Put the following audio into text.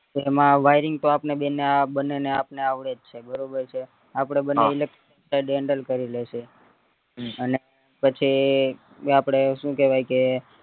ને એમાં wiring પણ આપણને બંને ને આપને આવડેજ છે બરાબર છે આપડે બંનજે electric બધું handle કરી લેશે અને પછી ને આપડે સુ કેવાય કે